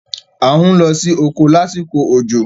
À ń lọ sí oko lásìkò òjò.